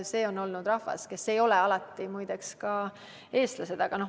Nemad on rahvas, ja muide, nad ei ole alati olnud eestlased.